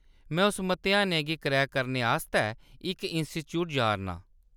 में उस मतेहानै गी क्रैक करने आस्तै इक इंस्टीट्यूट जा’रनां।